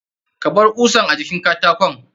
Kabar kusan a jikin karakon.